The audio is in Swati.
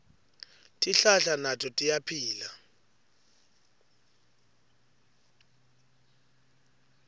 tihlahla nato tiyaphila